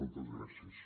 moltes gràcies